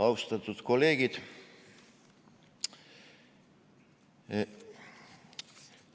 Austatud kolleegid!